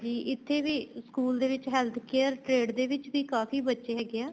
ਇੱਥੇ ਵੀ school ਦੇ ਵਿੱਚ heath care trade ਦੇ ਵੀ ਕਾਫ਼ੀ ਬੱਚੇ ਹੈਗੇ ਏ